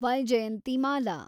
Vyjayanthimala